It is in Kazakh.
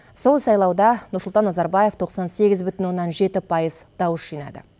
сол сайлауда нұрсұлтан назарбаев тоқсан сегіз бүтін оннан жеті пайыз дауыс жинады